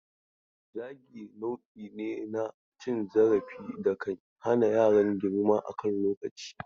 Zagi nau'i ne na cin zarafi da kan hana yaran girma a kan lokaci.